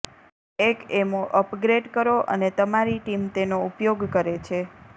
એક એમો અપગ્રેડ કરો અને તમારી ટીમ તેનો ઉપયોગ કરે છે